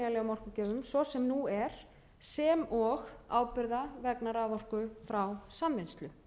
orkugjöfum svo sem nú er sem og ábyrgða vegna raforku frá samvinnslu